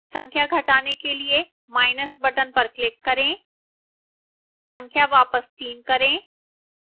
संख्या घटाने के लिए minus button पर click करें संख्या वापस 3 करें